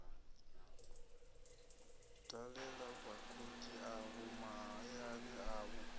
dalela vhagudi avho mahayani avho